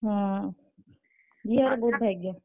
ହଁ, ଝିଅର ବହୁତ୍ ଭାଗ୍ୟ।